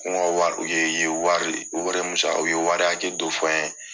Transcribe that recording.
ye wari, u yɛrɛ ye min sara u ye wari akɛ dɔ fɔ ɲɛn